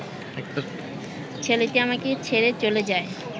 ছেলেটি আমাকে ছেড়ে চলে যায়